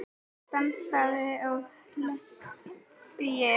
Dansað og hlegið.